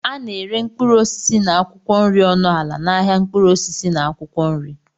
A na-ere mkpụrụ osisi na akwụkwọ nri ọnụ ala n'ahịa mkpụrụ osisi na akwụkwọ nri.